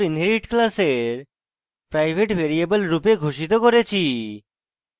exam underscore inherit class private variable রূপে ঘোষিত করেছি